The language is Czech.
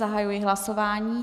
Zahajuji hlasování.